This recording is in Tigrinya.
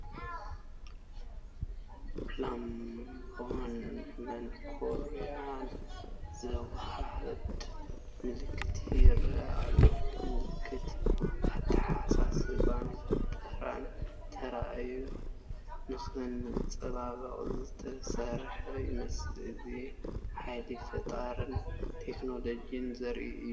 ላምባን መንኰርኰርን ዘወሃህድ ምልክት ይረአ ኣሎ፡ ምልክት ኣተሓሳስባን ፈጠራን ተራእዩ ንኸንፀባርቕ ዝተሰርሐ ይመስል፡፡ እዚ ሓይሊ ፈጠራን ቴክኖሎጅን ዘርኢ ድማ እዩ።